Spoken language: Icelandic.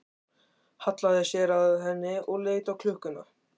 Hallaði sér að henni og leit á klukkuna.